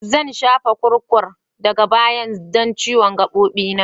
Zan shafa kurkum daga baya don ciwon gabobi na.